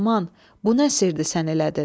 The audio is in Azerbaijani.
Loğman, bu nə sirdir sən elədin?